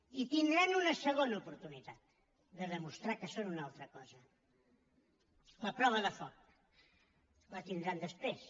i tindran una segona oportunitat de demostrar que són una altra cosa la prova de foc la tindran després